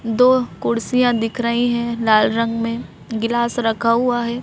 दो कुर्सियां दिख रही हैं लाल रंग में गिलास रखा हुआ है।